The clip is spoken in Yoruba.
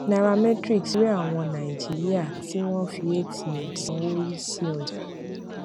nairametrics rí àwọn nàìjíríà tí wọn fi atm sanwó rísí ọjà